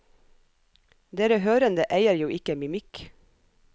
Dere hørende eier jo ikke mimikk.